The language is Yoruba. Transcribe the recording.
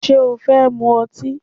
Ṣé o fẹ́ mu ọtí?